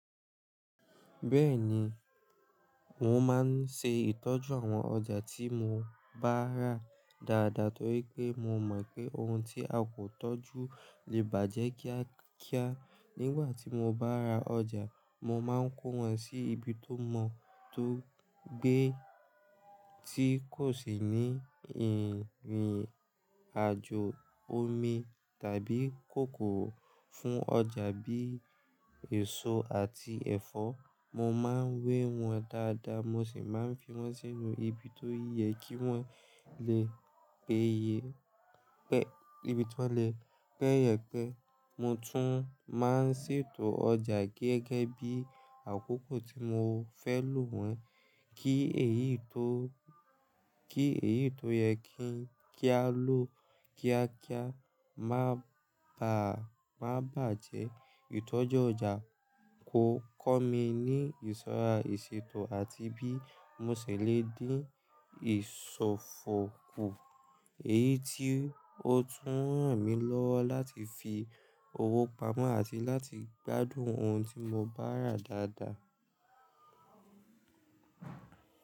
Bẹ́ẹ̀ni, mò má n ṣe ìtọ́jú àwọn ọjà tí mò bá rà dáadáa torí pé mò mọ̀ pé ohun tí a kò tọ́jú lè bàjẹ́ kíákíá. Nígbà tí mò bá ra ọjà, mò máa ń kó wọn sí ibi tó mọ́ tó gbé tí kò sì ní irin rìnàjò omi tàbí kòkòrò. Fún ọjà bíi èso àti ẹ̀fọ́, mò máa ń wé wọn dáadáa, mò sì máa ń fi wọn sínú ibi tó yẹ kí wọ́n lè peyẹ. Mo tún máa ń ṣètò ọjà gẹ́gẹ́ bí àkókò tí mò fẹ́ lò wọ́n. Ki eyii kí èyí tó yẹ kí n, ki a lo kíákíá má bàa, ma bajẹ́. Ìtọ́jú ọjà ò kọ́ mi ní ìṣọ́ra ìṣètò àti bí mò ṣe le dín ìsofo kù, èyí tí ó tún ràn mí lọ́wọ́ láti fi owó pamọ́ àti láti gbádùn ohun tí mò bá rà dáadáa.